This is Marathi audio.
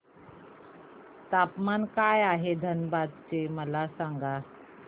तापमान काय आहे धनबाद चे मला सांगा